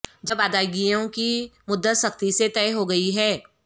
جب ادائیگیوں کی مدت سختی سے طے ہو گئی ہے